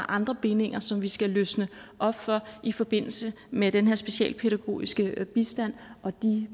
andre bindinger som vi skal løsne op for i forbindelse med den her specialpædagogiske bistand og